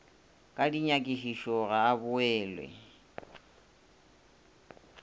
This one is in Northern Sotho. ka dinyakišišo ga a boele